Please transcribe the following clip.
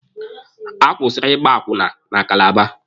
A kwụsịrị Ịgba akwụna na Kalaba.